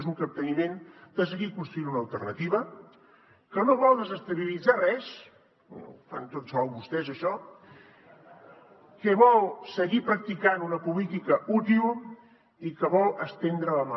és un capteniment de seguir construint una alternativa que no vol desestabilitzar res ho fan tots sols vostès això que vol seguir practicant una política útil i que vol estendre la mà